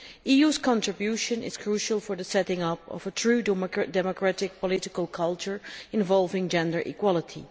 The EU's contribution is crucial for the setting up of a truly democratic political culture involving gender equality.